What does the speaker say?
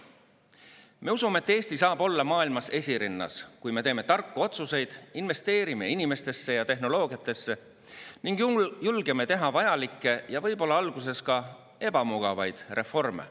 Me usume, et Eesti saab olla maailmas esirinnas, kui me teeme tarku otsuseid, investeerime inimestesse ja tehnoloogiasse ning julgeme teha vajalikke ja võib-olla alguses ka ebamugavaid reforme.